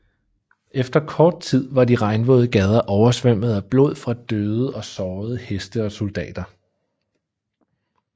Efter kort tid var de regnvåde gader overstrømmet af blod fra døde og sårede heste og soldater